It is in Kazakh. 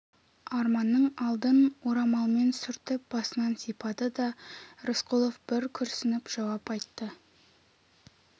арманның алдын орамалмен сүртіп басынан сипады да рысқұлов бір күрсініп жауап айтты